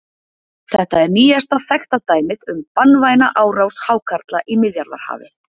Þetta er nýjasta þekkta dæmið um banvæna árás hákarla í Miðjarðarhafi.